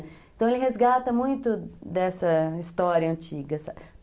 Então ele resgata muito dessa história antiga, sabe?